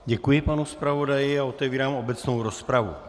Děkuji panu zpravodaji a otevírám obecnou rozpravu.